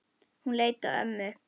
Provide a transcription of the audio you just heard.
Hún leit á ömmu.